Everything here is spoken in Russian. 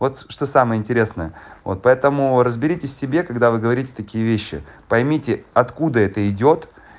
вот что самое интересное вот поэтому разберитесь в себе когда вы говорите такие вещи поймите откуда это идёт